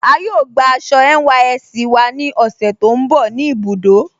A yóò gbà àṣọ NYSC wà ní òṣè tó nbọ̀ ní ibùdó.